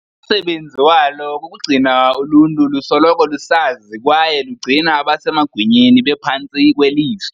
Umsebenzi walo kukugcina uluntu lusoloko lusazi kwaye lugcina abasemagunyeni bephantsi kweliso.